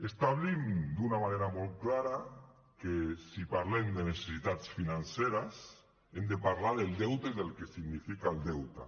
establim d’una manera molt clara que si parlem de necessitats financeres hem de parlar del deute i del que significa el deute